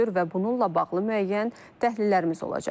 və bununla bağlı müəyyən təhlillərimiz olacaq.